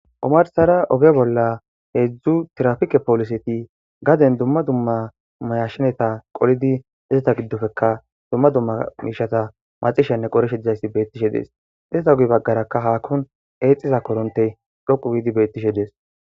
omarsara oge bolla heedzdzu tirafike poliseti gaden dumma dumma mayashsheneta qolidi ezeta giddofeka dumma dumma miishata macishenne qorishe dizayssi beettishe dees izata ogi baggarakka haakkun eexxiza koronte dhoqu giidi bettishe dees